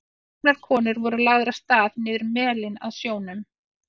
Tvær gamlar konur voru lagðar af stað niður melinn að sjónum.